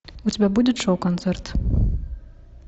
у тебя будет шоу концерт